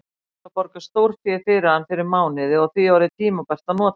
Kveðst hafa borgað stórfé fyrir hann fyrir mánuði og því orðið tímabært að nota hann.